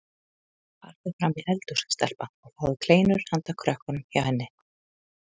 Farðu fram í eldhús stelpa og fáðu kleinur handa krökkunum hjá henni